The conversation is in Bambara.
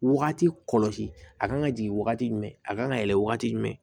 Wagati kɔlɔsi a kan ka jigin wagati jumɛn a kan ka yɛlɛ wagati jumɛn